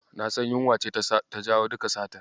Na san yunwa ce ta jawo duka satar.